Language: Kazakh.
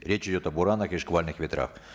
речь идет о буранах и шквальных ветрах